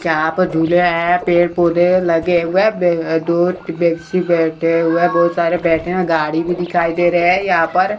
यहां पर झूले हैं पेड़ पौधे लगे हुए वय दो व्यक्ति बैठे हुए बहुत सारे बैठे हैं गाड़ी भी दिखाई दे रहे हैं यहां पर।